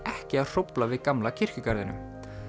ekki að hrófl a við gamla kirkjugarðinum